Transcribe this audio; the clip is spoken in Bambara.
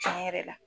Tiɲɛ yɛrɛ la